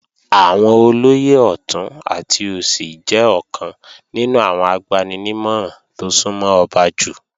Àwọn olóyè ọ̀tún àti òsì jẹ́ ọ̀kan nínú àwọn agbani-nímọ̀ràn tó súnmọ́ ọba jù